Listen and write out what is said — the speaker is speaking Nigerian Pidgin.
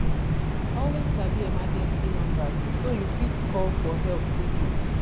always sabi emergency numbers so yu fit call for help quickly